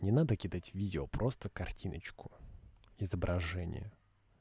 не надо кидать видео просто картиночку изображение